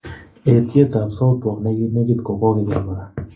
eetyet ap Southwark neginegit ko kogeger kora